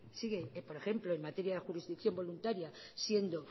sigue por ejemplo en materia jurisdicción voluntaria siendo